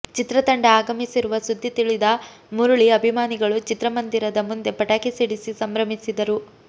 ಚಿತ್ರ ತಂಡ ಆಗಮಿಸಿರುವ ಸುದ್ದಿ ತಿಳಿದ ಮುರಳಿ ಅಭಿಮಾನಿಗಳು ಚಿತ್ರಮಂದಿರದ ಮುಂದೆ ಪಟಾಕಿ ಸಿಡಿಸಿ ಸಂಭ್ರಮಿಸಿದರು